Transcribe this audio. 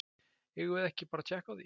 Eigum við ekki bara að tékka á því?